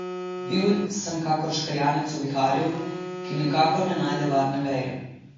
Bil sem kakor škrjanec v viharju, ki nikakor ne najde varne veje.